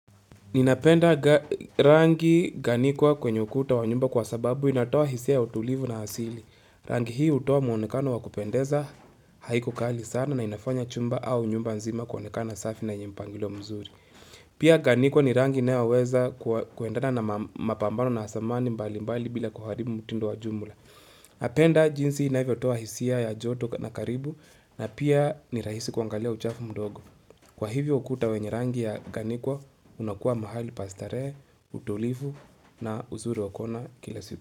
Ninapenda rangi ganikwa kwenye ukuta wa nyumba kwa sababu inatoa hisia ya utulivu na hasili. Rangi hii hutoa muonekano wa kupendeza haiko kali sana na inafanya chumba au nyumba nzima kwenye kana safi na yenyempangilo mzuri. Pia ganikwa ni rangi inayoweza kuendana na mapambano na asamani mbali mbali bila kuharibu mutindo wa jumula. Napenda jinsi inavyo toa hisia ya joto na karibu na pia ni rahisi kwangalia uchafu mdogo. Kwa hivyo ukuta wenye rangi ya ganikwa, unakuwa mahali pastarehe, utulivu na uzuri wakuona kila sita.